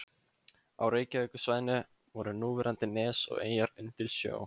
Á Reykjavíkursvæðinu voru núverandi nes og eyjar undir sjó.